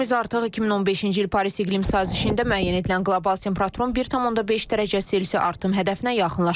Planetimiz artıq 2015-ci il Paris iqlim sazişində müəyyən edilən qlobal temperaturun 1,5 dərəcə Selsi artım hədəfinə yaxınlaşır.